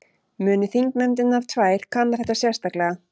Muni þingnefndirnar tvær kanna þetta sérstaklega